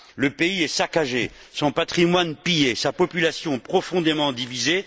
Le pays est saccagé, son patrimoine pillé, sa population profondément divisée.